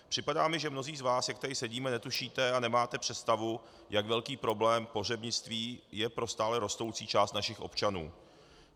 Připadá mi, že mnozí z vás, jak tady sedíme, netušíte a nemáte představu, jak velký problém pohřebnictví je pro stále rostoucí část našich občanů.